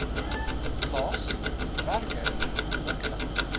plaas werker ontwikkeling